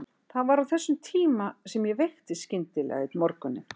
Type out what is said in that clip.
Það var á þessum tíma sem ég veiktist skyndilega einn morguninn.